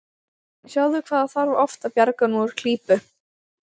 Sjáðu hvað það þarf oft að bjarga honum úr klípu.